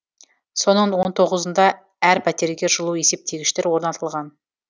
соның он тоғызында әр пәтерге жылу есептегіштер орнатылған